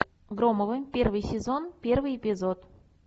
громовы первый сезон первый эпизод